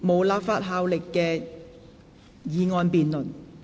無立法效力的議案辯論。